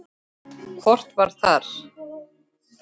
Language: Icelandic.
Hvort það var!